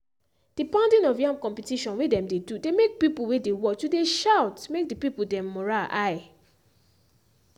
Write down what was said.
the pounding of yam competition wey dem dey do dey make pipo wey dey watch to dey shout make the pipo dem morale high.